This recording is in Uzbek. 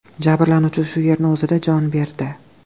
Jabrlanuvchi shu yerning o‘zida jon berdi.